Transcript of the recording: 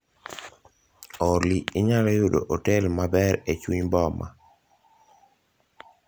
Olly inyalo yudo otel maber e chuny boma